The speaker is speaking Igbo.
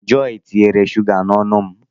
Jọy tinyere shụga n'ọnụ m